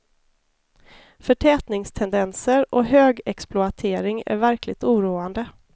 Förtätningstendenser och högexploatering är verkligt oroande.